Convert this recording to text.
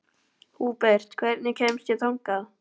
Húbert, hvernig kemst ég þangað?